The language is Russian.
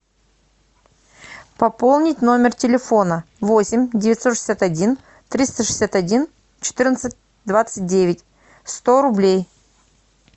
пополнить номер телефона восемь девятьсот шестьдесят один триста шестьдесят один четырнадцать двадцать девять сто рублей